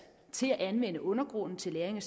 til at anvende undergrunden til lagring